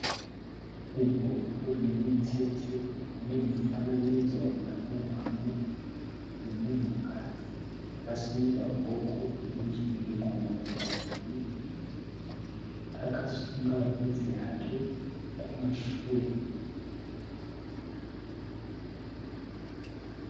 Mubhuku rinemitsetse mune mufananidzo wakanyorwamo wemunhukadzi akasimudza ruoko rwerudyi zvigumwe zviviri. Akasunga vhudzi rake kumashure.